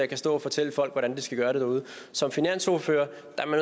kan stå og fortælle folk hvordan de skal gøre derude som finansordfører